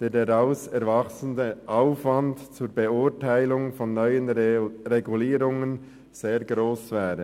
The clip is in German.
und der daraus erwachsende Aufwand zur Beurteilung von neuen Regulierungen sehr hoch wäre.